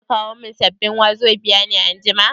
Zaka kawo min sabbin wazobia ne anjima?